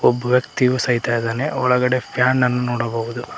ಒಬ್ಬ ವ್ಯಕ್ತಿಯು ಸಹಿತ ಇದ್ದಾನೆ ಒಳಗಡೆ ಫ್ಯಾನ್ ಅನ್ನು ನೋಡಬಹುದು.